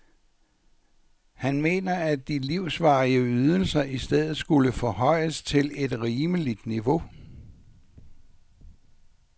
Han mener, at de livsvarige ydelser i stedet skulle forhøjes til et rimeligt niveau.